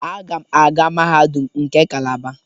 Agam aga mahadum nke Calaba.